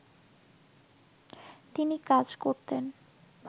তিনি কাজ করতেন